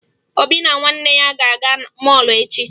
Obi na nwanne ya ga-aga mọọlụ echi